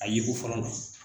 A yeko fɔlɔ la.